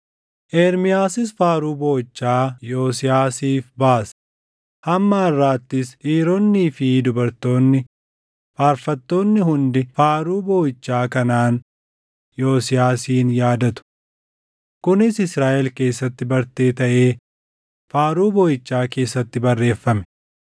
Ermiyaasis faaruu booʼichaa Yosiyaasiif baase; hamma harʼaattis dhiironnii fi dubartoonni faarfattoonni hundi faaruu booʼichaa kanaan Yosiyaasin yaadatu. Kunis Israaʼel keessatti bartee taʼee Faaruu Booʼichaa keessatti barreeffame.